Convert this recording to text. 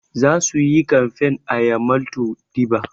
Za su yi kamfain a yamaltu deba